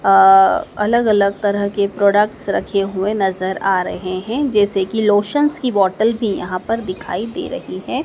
अ अलग अलग तरह के प्रोडक्ट्स रखे हुए नज़र आ रहे हैं जैसे कि लोशन्स की बॉटल भी यहाँ पर दिखाई दे रही है।